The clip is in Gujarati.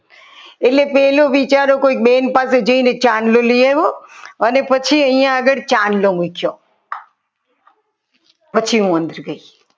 એટલે પહેલો વિચારો કોઈક બેન પાસે જઈને ચાંદલો લઈ આવ્યો અને પછી અહીંયા આગળ ચાંદલો મુક્યો પછી હું અંદર ગઈ